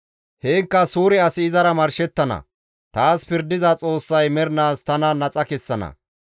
Heenkka suure asi izara marshettana; taas pirdiza Xoossay mernaas tana naxa kessana.